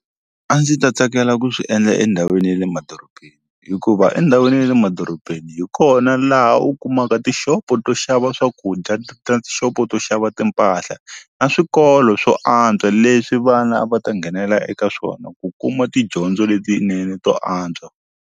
A ndzi ta tsakela ku swi endla endhawini ya le madorobeni hikuva endhawini ya le madorobeni hi kona laha u kumaka tixopo to xava swakudya xopo to xava timpahla na swikolo swo antswa leswi vana va ta nghenela eka swona ku kuma tidyondzo letinene to antswa.